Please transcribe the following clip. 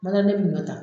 Mara ne bi ɲɔ ta